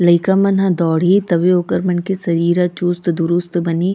लइका मना हा दौड़ही तभे ओकर मन के शरीर ह चुस्त दरुस्त बनहि --